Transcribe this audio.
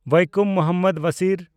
Vaikom Muhammad Basir